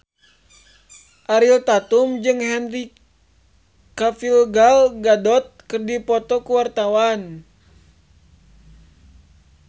Ariel Tatum jeung Henry Cavill Gal Gadot keur dipoto ku wartawan